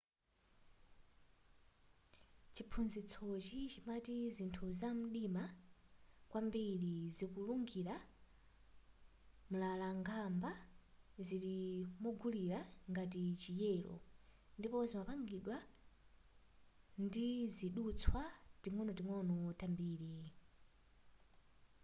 chiphunzitsochi chimati zinthu zamdima kwambiri kuzungulira mlalang'amba zili mozungulira ngati chi yelo ndipo zimapangidwa nditizidutswa tating'onoting'ono tambiri